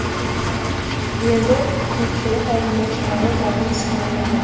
енді жұртшылық алдында шығару бағын сынау қажет